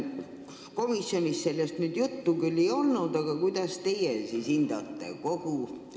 Komisjonis sellest küll juttu ei olnud, aga kuidas teie seda hindate?